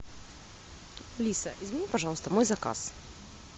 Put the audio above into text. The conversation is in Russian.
алиса измени пожалуйста мой заказ